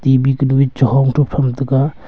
T_B kanu e cha hong tu pham taga.